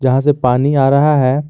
यहां से पानी आ रहा है।